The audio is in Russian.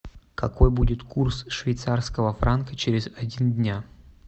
какой будет курс швейцарского франка через один день